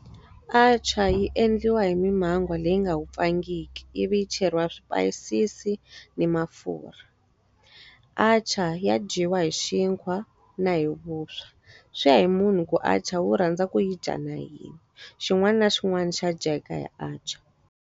Atchar yi endliwa hi mimhango leyi nga wupfangiki ivi yi cheriwa swipayisisi ni mafurha. Atchar ya dyiwa hi xinkwa na hi vuswa. Swi ya hi munhu ku atchar u rhandza ku yi dya na yini. Xin'wana na xin'wana xa a dya hi atchar.